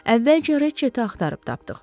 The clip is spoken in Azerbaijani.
Əvvəlcə Racheti axtarıb tapdıq.